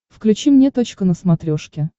включи мне точка на смотрешке